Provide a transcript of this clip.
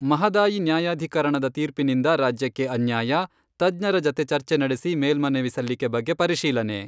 ಮಹದಾಯಿ ನ್ಯಾಯಾಧೀಕರಣದ ತೀರ್ಪಿನಿಂದ ರಾಜ್ಯಕ್ಕೆ ಅನ್ಯಾಯ, ತಜ್ಞರ ಜತೆ ಚರ್ಚೆ ನಡೆಸಿ ಮೇಲ್ಮನವಿ ಸಲ್ಲಿಕೆ ಬಗ್ಗೆ ಪರಿಶೀಲನೆ.